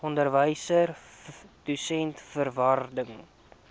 onderwyser dosent vervaardiger